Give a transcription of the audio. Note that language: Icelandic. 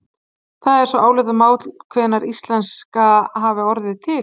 það er svo álitamál hvenær íslenska hafi orðið til